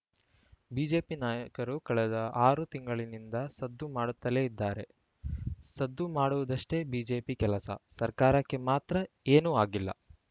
BJP ನಾಯಕರು ಕಳೆದ ಆರು ತಿಂಗಳಿನಿಂದ ಸದ್ದು ಮಾಡುತ್ತಲೇ ಇದ್ದಾರೆ ಸದ್ದು ಮಾಡುವುದಷ್ಟೇ ಬಿಜೆಪಿ ಕೆಲಸ ಸರ್ಕಾರಕ್ಕೆ ಮಾತ್ರ ಏನು ಆಗಿಲ್ಲ